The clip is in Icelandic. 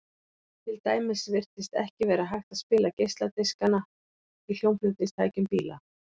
til dæmis virtist ekki vera hægt að spila geisladiskana í hljómflutningstækjum bíla